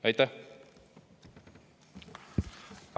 Aitäh!